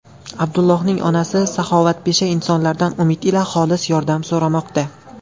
Abdullohning onasi saxovatpesha insonlardan umid ila xolis yordam so‘ramoqda.